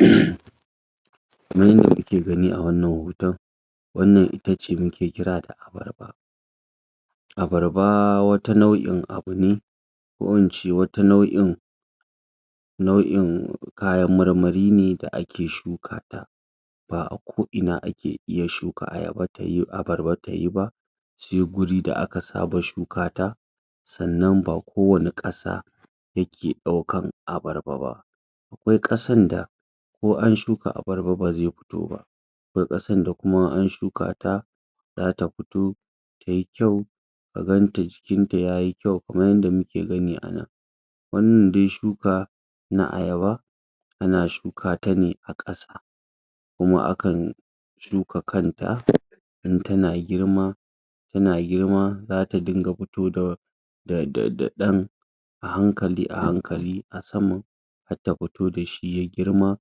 um Kaman yanda kuke gani a wannan hoton, wannan ita ce muke kira da abarba. Abarba wata nau'in abu ne, ko in ce wata nau'in nau'in kayan marmari ne da ake shuka ta, ba a ko ina ake iya shuka ayaba abarba tayi ba, se guri da aka saba shuka ta. Sannan ba ko wani ƙasa yake ɗaukan abarba ba. Akwai ƙasan da ko an shuka abarba ba zai fito ba, akwai ƙasan da kuma in an shuka ta zata futo, tayi kyau, ka ganta jikin ta yayi kyau kaman yanda muke gani a nan. Wannan dai shuka, na ayaba ana shuka ta ne a ƙasa, kuma a kan shuka kanta, in tana girma tana girma, zata dinga futo da da da da ɗan ahankali-ahankali, a saman hat ta futo dashi ya girma,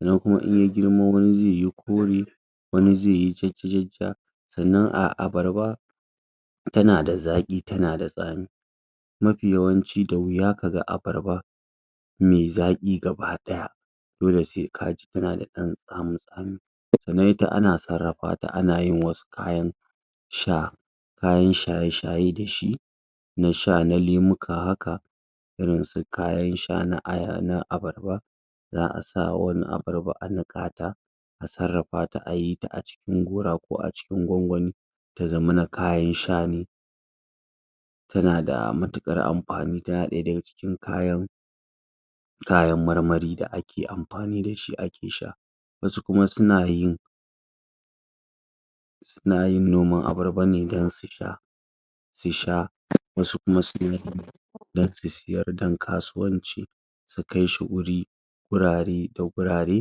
sannan kuma in ya girma wani zai yi kore, wani zai yi jajja-jajjaː, sannan abarba tana da zaƙi, tana da tsami. Mafi yawanci da wuya kaga abarba me zaƙi gaba ɗaya, dole sai kaji tana da ɗan tsami-tsami. Sannan ita ana sarrafa ta, ana yin wasu kayan sha, kayan shaye-shaye dashi na sha, na lemuka haka, irin su kayan sha na abarba, za a sa wani abarba a niƙa ta, a sarrafa ta, ayi ta a cikin gora ko wani gwangwami, ta zamana kayan sha ne. Tan ada matuƙar amfani, tana ɗaya daga cikin kayan kayan marmari, da ake amfani dashi ake sha. Wasu kuma suna yin suna yin noman abarba ne dan su sha, su sha, wasu kuma dan su siyar, dan kasuwanci, su kai shi guri, gurare da gurare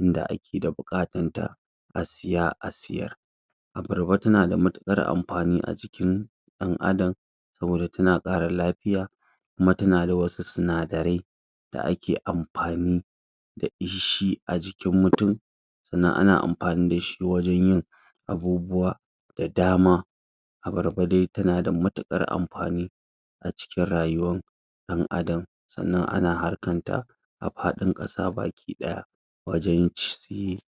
inda ake da buƙatan ta, a siya a siyar. Abarba tana da matuƙar amfani a jikin ɗan adam, saboda tana ƙara lafiya, kuma tana da wasu sinadarai, da ake amfani da shi a jikin mutum, sannan ana amfani dashi wajan yin abubuwa da dama. Abarba dai tana matuƙar amfani, a cikin rayuwan ɗan adam. Sannan ana harkan ta a faɗin ƙasa baki ɗaya, wajan ci